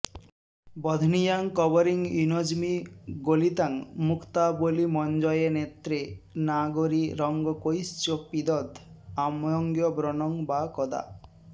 बध्नीयां कवरीं युनज्मि गलितां मुक्तावलीमञ्जये नेत्रे नागरि रङ्गकैश्च पिदध् आम्यङ्गव्रणं वा कदा